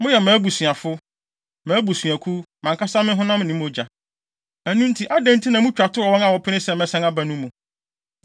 Moyɛ mʼabusuafo, mʼabusuakuw, mʼankasa me honam ne me mogya. Na ɛno nti, adɛn nti na mutwa to wɔ wɔn a wɔpene sɛ mɛsan aba no mu?”